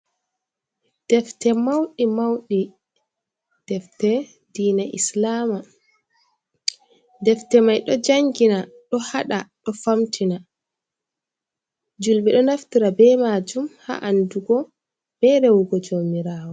"Defte" mauɗi mauɗi defte diina islama defte mai ɗo jangina ɗo hada ɗo famtina julɓe ɗo naftira be majum ha andugo be rewugo jomirawo.